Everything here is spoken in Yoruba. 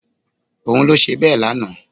Òun ló ṣe bẹ́ẹ̀ lánàá